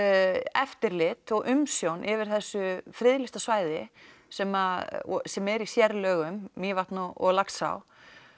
eftirlit og umsjón yfir þessu friðlýsta svæði sem sem er í sérlögum Mývatn og Laxá